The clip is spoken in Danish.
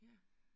Ja